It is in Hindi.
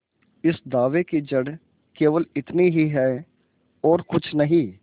इस दावे की जड़ केवल इतनी ही है और कुछ नहीं